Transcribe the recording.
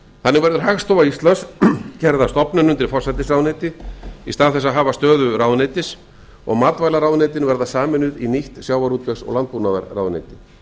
þannig verður hagstofa íslands gerð að opnun undir forsætisráðuneyti í stað þess að afar stöðu ráðuneytis og matvælaráðuneytin verða sameinuð í nýtt sjávarútvegs og landbúnaðarráðuneyti